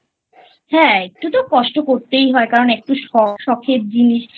হ্যাঁ একটু তো কষ্ট করতেই হয় কারণ একটু শখের জিনিস